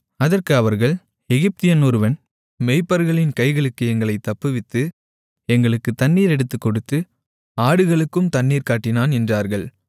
அதற்கு அவர்கள் எகிப்தியன் ஒருவன் மேய்ப்பர்களின் கைகளுக்கு எங்களைத் தப்புவித்து எங்களுக்குத் தண்ணீர் எடுத்துக் கொடுத்து ஆடுகளுக்கும் தண்ணீர் காட்டினான் என்றார்கள்